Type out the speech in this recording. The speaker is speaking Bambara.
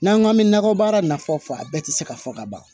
N'an k'an bɛ nakɔ baara nafa fɔ a bɛɛ tɛ se ka fɔ ka ban